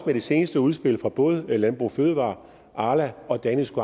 det seneste udspil fra både landbrug fødevarer arla og danish